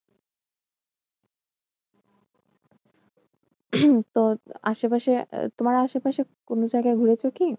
তো আশেপাশে তোমার আশেপাশে কোনো জায়গায় ঘুরেছো কি?